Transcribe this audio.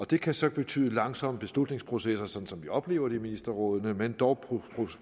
det kan så betyde langsomme beslutningsprocesser sådan som vi oplever det i ministerrådet men dog